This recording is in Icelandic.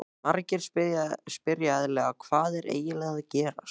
Margir spyrja eðlilega, Hvað er eiginlega að gerast?